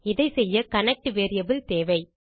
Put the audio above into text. இதை செய்ய connect variable தேவை